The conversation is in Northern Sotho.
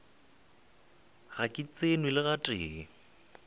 ga ke tsenwe le gatee